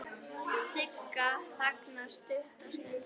Sigga þagnar stutta stund.